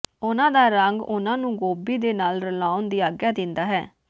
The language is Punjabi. ਉਨ੍ਹਾਂ ਦਾ ਰੰਗ ਉਨ੍ਹਾਂ ਨੂੰ ਗੋਭੀ ਦੇ ਨਾਲ ਰਲਾਉਣ ਦੀ ਆਗਿਆ ਦਿੰਦਾ ਹੈ